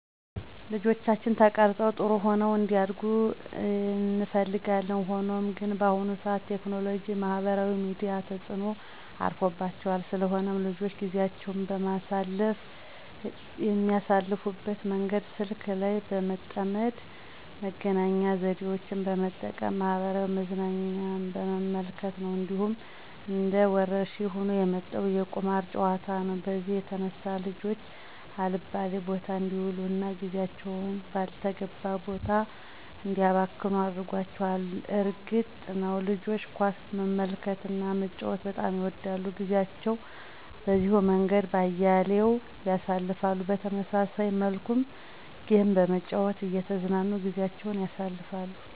ልጆቻችን ተቀርፀው ጥሩሆነው እንዲያድጉ እንፈልጋለን። ሆኖም ግን በአሁኑ ሰዓት ቴክኖሎጂ ማህበራዊ ሚዲያ ተጽኖ አርፎባቸዋል። ስለሆነም ልጆች ጊዜአቸውን የሚያሳልፍበት መንገድ ስልክ ላይ በመጠመድ መገናኛ ዘዴወችን በመጠቀም ማህበራዊ መዝናኛ በመመልከት ነው። እንዲሁም እንደ ወረርሽኝ ሆኖ የመጣው የቁማር ጨዋታ ነው በዚህም የተነሳ ልጆች አልባሌ ቦታ አንዲውሉ እና ጊዜአቸውን ባልተገባ ቦታ እንዲያባክኑ አድርጓቸዋል። እርግጥ ነዉ ልጆች ኳስ መመልከትና መጫወት በጣም ይወዳሉ ጊዜአቸውን በዚሁ መንገድ በአያሌው ያሳልፍሉ። በተመሳሳይ መልኩም ጌም በመጨዋት እየተዝናኑ ጊዜአቸውን ያሳልፍሉ።